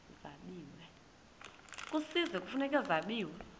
kwisizwe kufuneka zabiwe